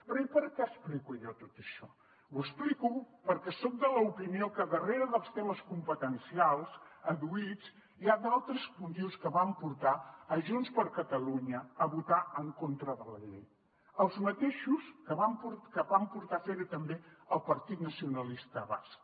però i per què ho explico jo tot això ho explico perquè soc de l’opinió que darrere dels temes competencials adduïts hi ha d’altres motius que van portar junts per catalunya a votar en contra de la llei els mateixos que van portar a fer ho també al partit nacionalista basc